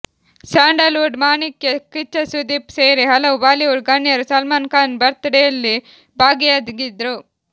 Sandalwood ಮಾಣಿಕ್ಯ ಕಿಚ್ಚ ಸುದೀಪ್ ಸೇರಿ ಹಲವು ಬಾಲಿವುಡ್ ಗಣ್ಯರು ಸಲ್ಮಾನ್ ಖಾನ್ ಬರ್ತ್ಡೇಯಲ್ಲಿ ಭಾಗಿಯಾಗಿದ್ರು